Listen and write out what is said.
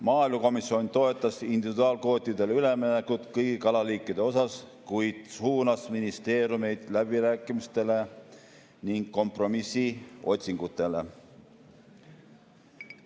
Maaelukomisjon toetas individuaalkvootidele üleminekut kõigi kalaliikide puhul, kuid suunas ministeeriumeid läbirääkimistele ning kompromissi otsingutele.